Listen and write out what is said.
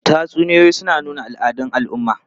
Tatsuniyoyi suna nuna al'adun al'umma.